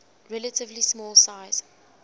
relatively small size